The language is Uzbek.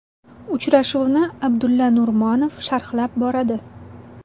Uchrashuvni Abdulla Nurmonov sharhlab boradi.